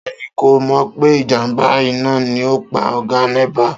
Ta ni kò mò̩ pé ìjàmbá iná ni ó pa ò̩gá Né̩pà?